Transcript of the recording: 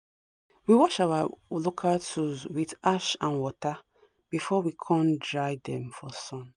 we wash our local tools with ash and water before we kon dry dem for sun